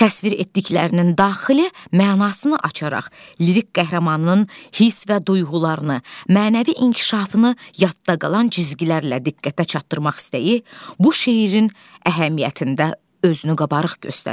Təsvir etdiklərinin daxili mənasını açaraq, lirik qəhrəmanının hiss və duyğularını, mənəvi inkişafını yadda qalan cizgilərlə diqqətə çatdırmaq istəyi bu şeirin əhəmiyyətində özünü qabarıq göstərirdi.